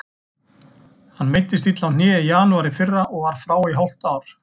Hann meiddist illa á hné í janúar í fyrra og var frá í hálft ár.